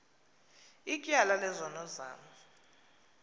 ityala lezono zam